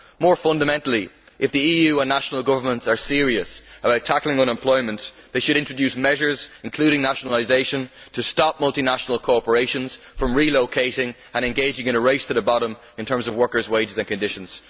More fundamentally, if the EU and national governments are serious about tackling unemployment, they should introduce measures, including nationalisation, to stop multinational corporations from relocating and engaging in a race to the bottom in terms of workers' wages and conditions.